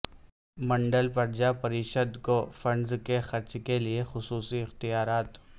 منڈل پرجا پریشد کو فنڈس کے خرچ کیلئے خصوصی اختیارات